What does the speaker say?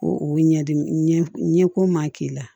Ko o ɲɛdimi ɲɛko ma k'i la